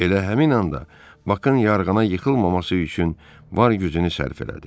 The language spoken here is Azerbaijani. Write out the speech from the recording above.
Elə həmin anda Bakın yarğana yıxılmaması üçün var gücünü sərf elədi.